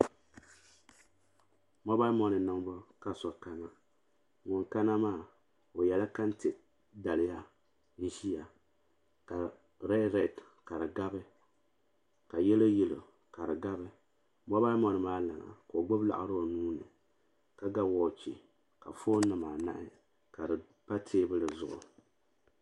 Mobal moni niŋbu ka so kana ŋun kana maa o yɛla kante daliya n ʒia ka redi redi ka di gabi ka yelo yelo ka di gabi mobal moni maa lana ka o gbibi laɣari o nuuni ka ga woochi ka fooni nima anahi ka di pa teebuli zuɣu.